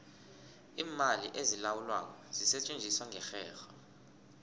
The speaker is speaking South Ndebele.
iimali ezilawulwako zisetjenziswa ngerherho